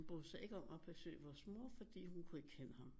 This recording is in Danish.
Brød sig ikke om at besøge vores mor fordi hun kunne ikke kende ham